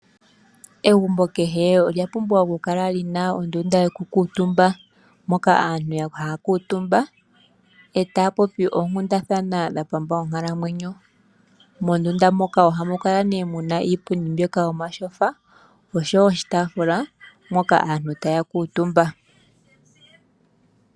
Egumbo kehe olya pumbwa oku kala li na ondundu yokukuutumba, moka aantu haa kuutumba, e taa popi oonkundathana dha pamba onkalamwenyo. Mondunda moka ohamu kala nee muna iipundi mbyoka yomatyofa, osho wo oshitaafula mpoka aantu taa kuutumba.